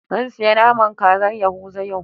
Zan siyi naman kazar yahuza yau.